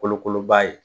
Kolokoloba ye